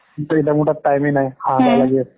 মোৰ টাত time এ নাই, হাহাকাৰ লেগি আছে ।